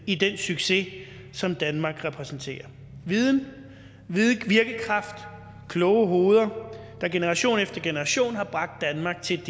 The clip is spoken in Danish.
i den succes som danmark repræsenterer viden virkekraft kloge hoveder der generation efter generation har bragt danmark til